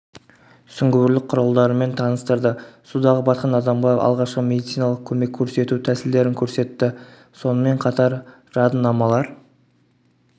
сүңгуірлік құралдарымен таныстырды судағы батқан адамға алғашқы медициналық көмек көрсету тәсілдерін көрсетті сонымен қатар жадынамалар